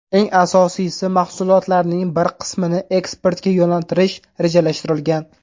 Eng asosiysi, mahsulotlarning bir qismini eksportga yo‘naltirish rejalashtirilgan.